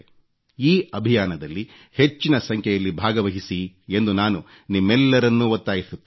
ಈ ಅಭಿಯಾನದಲ್ಲಿ ಹೆಚ್ಚಿನ ಸಂಖ್ಯೆಯಲ್ಲಿ ಭಾಗವಹಿಸಿ ಎಂದು ನಾನು ನಿಮ್ಮೆಲ್ಲರನ್ನೂ ಒತ್ತಾಯಿಸುತ್ತೇನೆ